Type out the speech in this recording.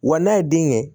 Wa n'a ye den kɛ